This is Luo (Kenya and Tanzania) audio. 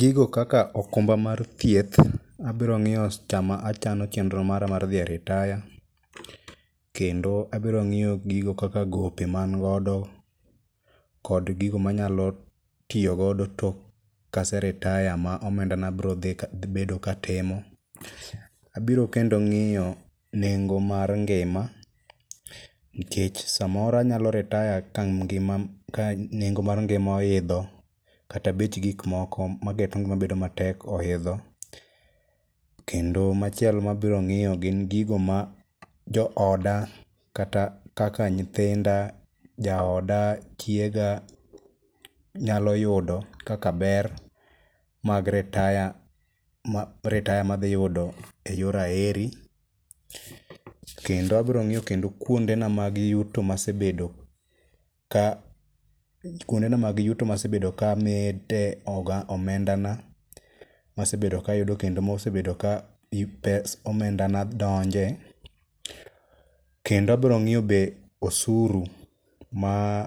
Gigo kaka okumba mar thieth abrong'iyo sama achano chenro mara mar dhi e ritaya, kendo abrong'iyo gigo kaka gope mangodo kod gigo manyalo tiyogodo tok kaseritaya ma omendana brobedo katimo, abiro kendo ng'iyo nengo mar ngima nkech samoro anyalo ritaya ka nengo mar ngima oidho kata bech gikmoko mageto ngima bedo matek oidho, kendo machielo mabiro ng'iyo gin gigo ma jooda kaka nyithinda, jaoda, chiega nyalo yudo kaka ber mag ritaya madhiyudo e yor aheri. Kendo abrong'iyo kendo kuondena mag yuto masebedo ka amede omendana masebedo kayudo kendo mosebedo komendana donje kendo abrong'iyo be osuru ma